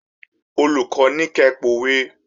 Olùkọ́ ní kẹ pòwe!